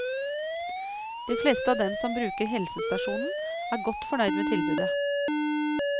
De fleste av dem som bruker helsestasjonen, er godt fornøyd med tilbudet.